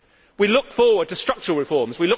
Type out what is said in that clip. We look forward to structural reforms.